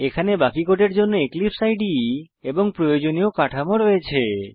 এখানে বাকি কোডের জন্য এক্লিপসে ইদে এবং প্রয়োজনীয় কাঠামো রয়েছে